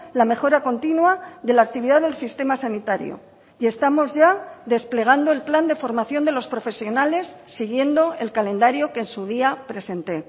la mejora continua de la actividad del sistema sanitario y estamos ya desplegando el plan de formación de los profesionales siguiendo el calendario que en su día presenté